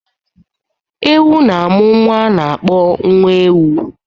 Ewu na-amụ nwa a na-akpọ nwa ewu